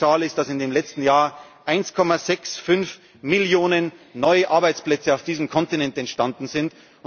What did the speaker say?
erzielen. Die schönste Zahl ist, das im letzten Jahr 1,65 Millionen neue Arbeitsplätze auf diesem Kontinent entstanden